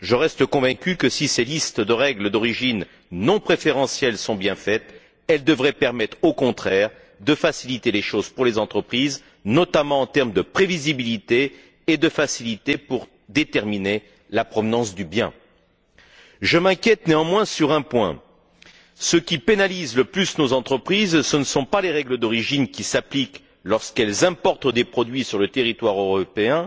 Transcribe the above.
Je reste convaincu que, si ces listes de règles d'origine non préférentielles sont bien faites, elles devraient permettre, au contraire, de faciliter les choses pour les entreprises, notamment, en termes de prévisibilité et de facilité pour déterminer la provenance du bien. Je m'inquiète, néanmoins, sur un point ce qui pénalise le plus nos entreprises, ce ne sont pas les règles d'origine, qui s'appliquent lorsqu'elles importent des produits sur le territoire européen,